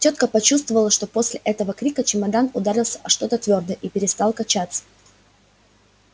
тётка почувствовала что после этого крика чемодан ударился о что-то твёрдое и перестал качаться